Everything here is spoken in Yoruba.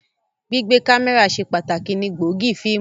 Gbigbe kamẹra ṣe pataki ni gbóògì fiimu.